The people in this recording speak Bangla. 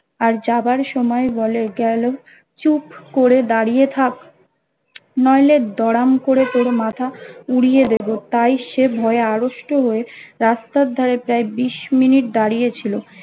আর যাবার সময় বলে গেলো চুপ করে দাড়িয়ে থাক নইলে দড়াম করে তোর মাথা উড়িয়ে দেবো তাই সে ভয়ে আড়ষ্ট হয়ে রাস্তার ধারে প্রায় বিশ মিনিট দাড়িয়ে ছিলো